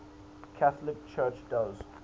catholic church does